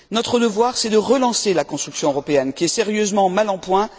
Notre devoir, c'est de relancer la construction européenne, qui est sérieusement mal en point.